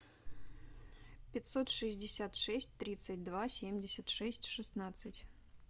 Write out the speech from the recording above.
пятьсот шестьдесят шесть тридцать два семьдесят шесть шестнадцать